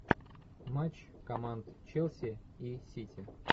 матч команд челси и сити